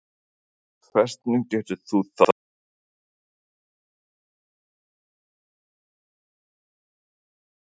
Hvernig getur þú þá fullyrt það að þetta verði samþykkt að lokum?